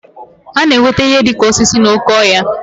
A na-enweta ihe dị ka osisi n'oké ọhịa